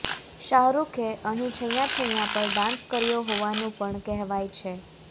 શાહરૂખે અહીં છૈંયા છૈંયા પર ડાન્સ કર્યો હોવાનું પણ કહેવાય છે